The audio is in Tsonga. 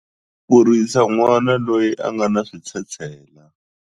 Ku kurisa n'wana loyi a nga na switshetshela.